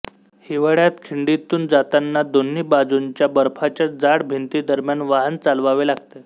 हिवाळ्यात खिंडीतून जातांना दोन्ही बाजूंच्या बर्फाच्या जाड भिंती दरम्यान वाहनचालवावे लागते